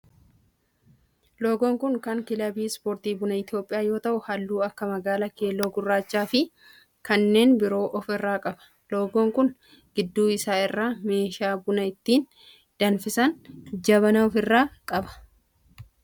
loogoon kun kan kilabii ispoortii buna Itiyoophiyaa yoo ta'u halluu akka magaala, keelloo, gurraacha fi kanneen biroo of irraa qaba. loogoon kun gidduu isaa irraa meeshaa buna ittiin danfisan jabanaa of irraa qaba.